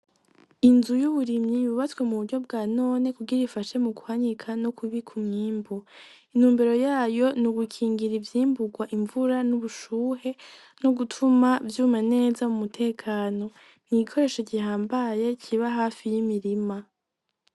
Inzu y'uburimyi yububatswe mu buryo bwa none kugir bifashe mu kuhanyika no kubiku myimbu inumbero yayo ni ugukingira ivyimburwa imvura n'ubushuhe no gutuma vyuma neza mu mutekano niigikoresho gihambaye kiba hafi y'imirima.